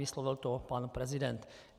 Vyslovil to pan prezident.